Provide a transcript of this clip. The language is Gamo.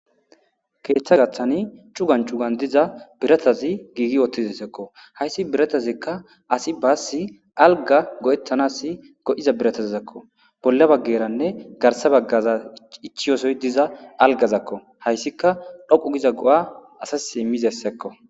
ketha gathani cuggan cuggani gigi utiza biratazi dessiko hayiss biratazi assi bassi aligga go'etanasi go'iza biratazako bolla bageranen garissa bagera ichiyasoyi diza aligakko hayisika dhoqu gidda go'a assasi iziakko